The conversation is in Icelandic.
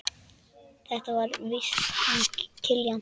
Þetta er víst hann Kiljan.